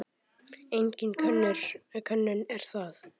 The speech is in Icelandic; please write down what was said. Engin könnun er það.